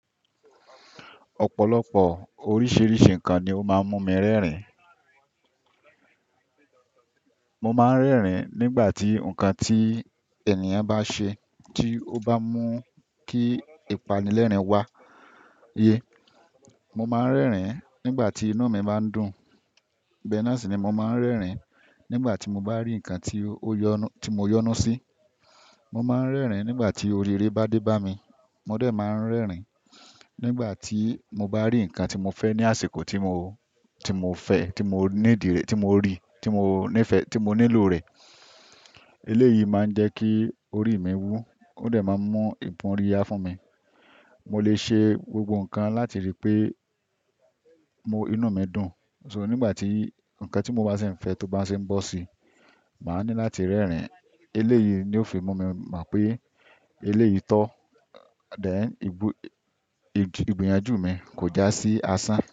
Ọ̀pọ̀lọpọ̀ oríṣìíríṣìí ǹkan ni ó máa ń mú mi rẹ́rìn. Mo máa ń rẹ́rìn nígbà tí ǹkan tí ènìyàn bá ṣe tí ó bá mú kí ìpánilẹ́rìn-ín wá yé. Mo máa ń rẹ́rìn nígbà tí inú mi bá ń dùn. Bẹ́ẹ̀ náà sì ni mo máa ń rẹ́rìn nígbà tí mo bá rí ǹkan tí ó yọ́nú, tí mo yọ́nú sí. Mo máa ń rẹ́rìn nígbà tí oríire bá dé bá mi. Mo dẹ́ máa ń rẹ́rìn nígbà tí mo bá rí ǹkan tí mo fẹ́ ní àsìkò tí mo, tí mo fẹ́, tí mo ní ìdí rẹ̀, tí mo rí, tí mo ní ìfẹ́, tí mo nílò rẹ̀. Eléyìí máa ń jẹ́ kí orí mi wú. Ó dẹ́ máa ń mú ì bóríyá fún mi. Mo lè ṣe gbogbo ǹkan láti rí pé mo, inú mi dùn. So nígbà tí ǹkan tí mo bá sì ń fẹ́ tóbá sì ń bọ́ sí i, màá ní láti rẹ́rìn. Eléyìí ni ó fi mú mi mọ̀ pé eléyìí tó. Dẹ̀, ìgbó, ìgbìyànjú mi kò já sí asán.